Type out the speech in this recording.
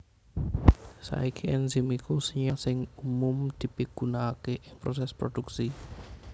Saiki enzim iku senyawa sing umum dipigunaaké ing prosès prodhuksi